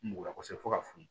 Mugun na kosɛbɛ fo ka s'u ma